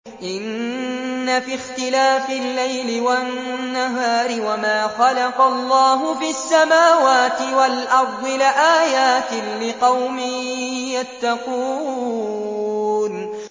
إِنَّ فِي اخْتِلَافِ اللَّيْلِ وَالنَّهَارِ وَمَا خَلَقَ اللَّهُ فِي السَّمَاوَاتِ وَالْأَرْضِ لَآيَاتٍ لِّقَوْمٍ يَتَّقُونَ